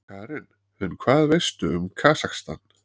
Karen: En hvað veistu um Kasakstan?